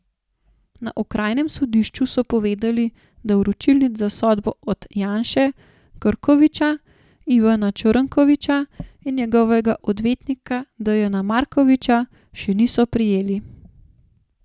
Na okrajnem sodišču so povedali, da vročilnic za sodbo od Janše, Krkoviča, Ivana Črnkoviča in njegovega odvetnika Dejana Markovića še niso prejeli.